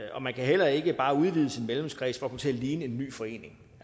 og man kan heller ikke bare udvide sin medlemskreds for at komme til at ligne en ny forening